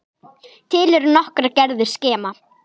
Til eru nokkrar gerðir skema.